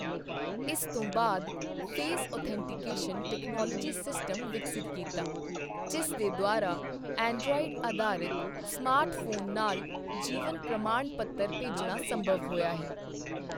ਇਸ ਤੋਂ ਬਾਅਦ ਫੇਸ ਔਥੈਂਟੀਕੇਸ਼ਨ ਟੈਕਨੋਲੋਜੀ ਸਿਸਟਮ ਵਿਕਸਿਤ ਕੀਤਾ, ਜਿਸ ਦੇ ਦੁਆਰਾ ਐਂਡ੍ਰੋਇਡ ਅਧਾਰਿਤ ਸਮਾਰਟ ਫੋਨ ਨਾਲ ਜੀਵਨ ਪ੍ਰਮਾਣ ਪੱਤਰ ਭੇਜਣਾ ਸੰਭਵ ਹੋਇਆ ਹੈ।